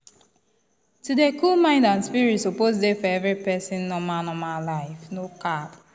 to dey cool mind and spirit suppose dey for every person normal normal life no cap.